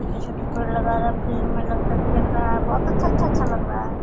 जैसा की पेड़ लगा रहा है फील्ड में लड़का खेल रहा है बहुत अच्छा-अच्छा लग रहा है।